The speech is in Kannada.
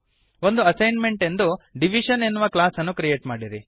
ಒಂದು ಅಸೈನ್ಮೆಂಟ್ ಎಂದು ಡಿವಿಷನ್ ಎನ್ನುವ ಕ್ಲಾಸ್ ಅನ್ನು ಕ್ರಿಯೇಟ್ ಮಾಡಿರಿ